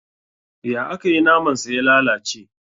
Ya akayi naman sa ya lalace?